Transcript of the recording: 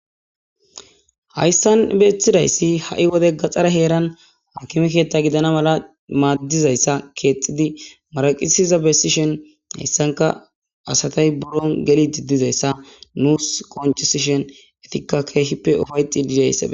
Hayssan beethidayssi ha7i wode gaxxara heeran hakimekeetta gidana mala maaddizayssa keexidi maraqisiza bessishen hayssanka asatay buron geli diddizayssa nuus qonchesishen etikka keehippe ufayxid dizayssa